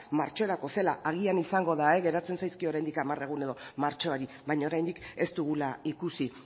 martxorako zela agian izango da geratzen zaizkie oraindik hamar egun edo martxoari baina oraindik ez dugula ikusi